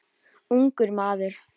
Ungur maður.